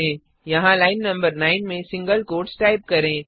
यहाँ लाइन नं 9 में सिंगल क्वोट्स टाइप करें